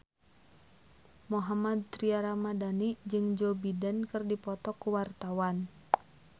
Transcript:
Mohammad Tria Ramadhani jeung Joe Biden keur dipoto ku wartawan